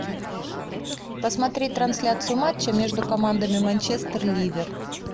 посмотреть трансляцию матча между командами манчестер ливер